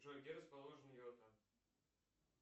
джой где расположен йота